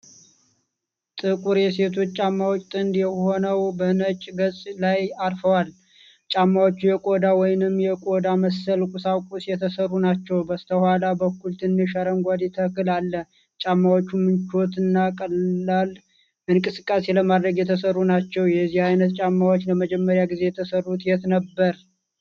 ጥቁር የሴቶች ጫማዎች ጥንድ ሆነው በነጭ ገጽ ላይ አርፈዋል። ጫማዎቹ የቆዳ ወይንም የቆዳ መሰል ቁሳቁስ የተሰሩ ናቸው። በስተኋላ በኩል ትንሽ አረንጓዴ ተክል አለ። ጫማዎቹ ምቹና ቀላል እንቅስቃሴ ለማድረግ የተሰሩ ናቸው። የዚህ አይነት ጫማዎች ለመጀመሪያ ጊዜ የተሰሩት የት ነበር?